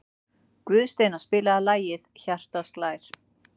Guðsteina, spilaðu lagið „Hjartað slær“.